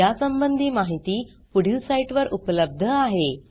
यासंबंधी माहिती पुढील साईटवर उपलब्ध आहे